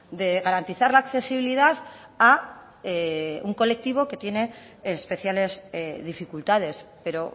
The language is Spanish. de garantizar la accesibilidad a un colectivo que tiene especiales dificultades pero